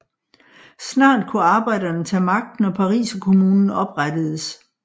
Snart kunne arbejderne tage magten og Pariserkommunen oprettedes